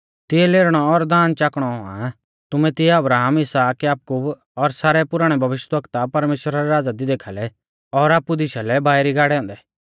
तिऐ लेरनौ और दाँद चाकणौ औणौ आ तुमै तिऐ अब्राहम इसहाक याकूब और सारै पुराणै भविष्यवक्ता परमेश्‍वरा रै राज़ा दी देखाल़ै और आपु दिशा लै बाइरी गाड़ै औन्दै